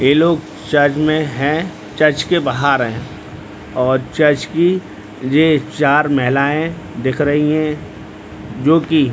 ये लोग चर्च में हैं | चर्च के बाहर हैं और चर्च की ये चार महिलाएँ दिख रही हैं जोकि --